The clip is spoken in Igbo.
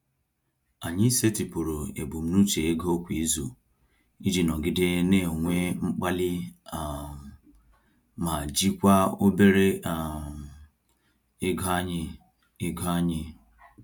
Anyị setịpụrụ ebumnuche ego kwa izu iji nọgide na-enwe mkpali um ma jikwaa obere um ego anyị. ego anyị.